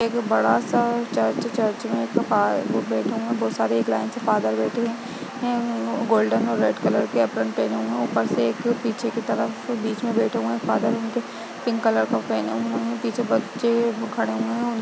एक बड़ा-सा church church में बैठे हुए है बहुत सारे लाइन से फादर बैठे हुए हैं ।गोल्डन और रेड कलर के एप्रिन पहने हुए हैं और ऊपर से एक पीछे की तरफ बीच बैठे हुए है फादर उनके पिंक कलर के पहने हुए हैं। पीछे बच्चे खड़े हुए हैं |